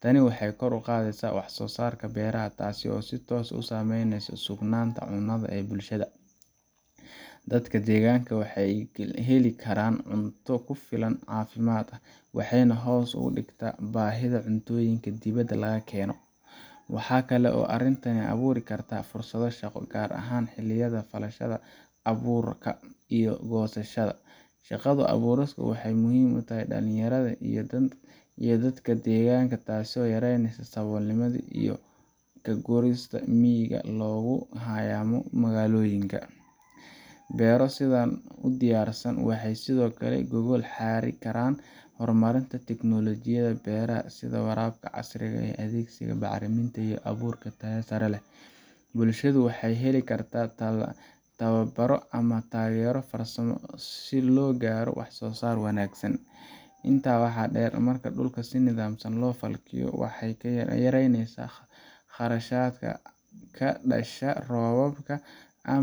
Tani waxay kor u qaadaysaa wax-soo-saarka beeraha, taasoo si toos ah u saameyneysa sugnaanta cunnada ee bulshada. Dadka deegaanka waxa ay heli karaan cunto ku filan oo caafimaad leh, waxayna hoos u dhigtaa baahida cuntooyinka dibadda laga keeno. Waxa kale oo arrintani abuuri kartaa fursado shaqo, gaar ahaan xilliyada falashada, abuurka iyo goosashada. Shaqo abuurkaasi waxa uu muhiim u yahay dhalinyarada iyo dadka deegaanka, taasoo yareyneysa saboolnimada iyo ka guurista miyiga looguna hayaamo magaalooyinka. Beero sidan u diyaarsan waxay sidoo kale u gogol xaari karaan horumarinta teknoolojiyadda beeraha sida waraabka casriga ah, adeegsiga bacriminta iyo abuur tayo sare leh. Bulshadu waxay heli kartaa tababaro ama taageero farsamo si loo gaaro wax-soo-saar wanaagsan. Intaa waxaa dheer, marka dhul si nidaamsan loo falkiyo, waxay yareyneysaa khasaaraha ka dhasha roobka ama